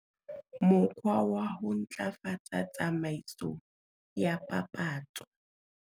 Mokgwa wa ho ntlafatsa tsamaiso ya papatso.